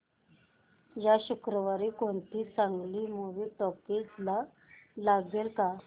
या शुक्रवारी कोणती चांगली मूवी टॉकीझ ला लागेल का